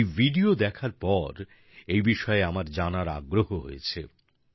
এই ভিডিও দেখার পর এই বিষয়ে আমার জানার আগ্রহ হয়েছে